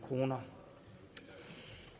kroner